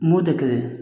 Mo tɛ kelen ye